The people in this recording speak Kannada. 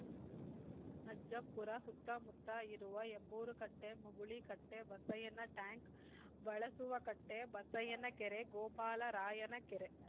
ಅಜ್ಜಂಪುರ ಸುತ್ತಮುತ್ತ ಇರುವ ಹೆಬ್ಬೂರು ಕಟ್ಟೆ ಮುಗುಳಿ ಕಟ್ಟೆ ಬಸಯ್ಯನ ಟ್ಯಾಂಕ್‌ ಬಳಸುವಕಟ್ಟೆ ಬಸಯ್ಯನಕೆರೆ ಗೋಪಾಲರಾಯನ ಕೆರೆ